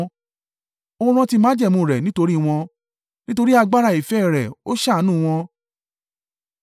ó rántí májẹ̀mú rẹ̀ nítorí wọn Nítorí agbára ìfẹ́ rẹ̀, ó ṣàánú wọn.